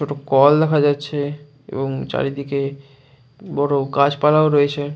দুটো কল দেখা যাচ্ছে এবং চারিদিকে বড় গাছপালাও রয়েছে।